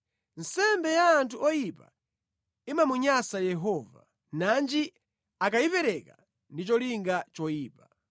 Nsembe ya anthu oyipa imamunyansa Yehova, nanji akayipereka ndi cholinga choyipa!